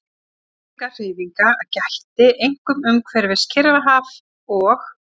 Fellingahreyfinga gætti einkum umhverfis Kyrrahaf og